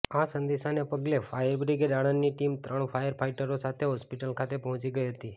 આ સંદેશાના પગલે ફાયરબ્રિગેડ આણંદની ટીમ ત્રણ ફાયરફાઇટરો સાથે હોસ્પિટલ ખાતે પહોંચી ગઇ હતી